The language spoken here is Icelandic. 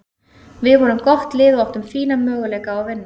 Við vorum gott lið og áttum fína möguleika á að vinna.